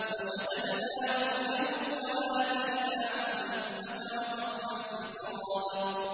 وَشَدَدْنَا مُلْكَهُ وَآتَيْنَاهُ الْحِكْمَةَ وَفَصْلَ الْخِطَابِ